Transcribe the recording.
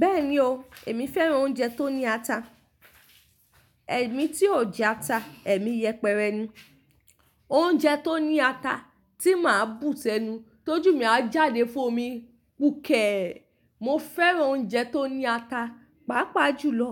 Bẹ́ẹ̀ni o, èmi fẹ́ràn oúnjẹ tó ní ata. Ẹ̀mí tí ò jẹ ata, ẹ̀mí yẹpẹrẹ ni. Oúnjẹ tó ní ata tí màá bù sẹnu, tójú mí ajáde fún omi, gbukẹ̀! Mo fẹ́ràn oúnjẹ tó ní ata, pàápàá jùlọ